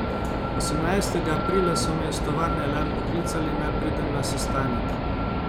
Osemnajstega aprila so me iz tovarne Elan poklicali, naj pridem na sestanek.